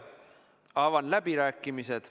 Avan läbirääkimised.